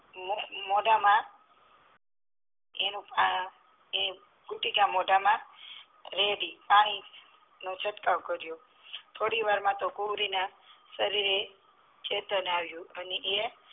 મોઢા માં એ બુટિક મોઢા માં રેડી તક્યાં છટકાવ કરીયો થોવાર માં તો ગોરી ના શરીરે ચેતન આવ્યુ અને એ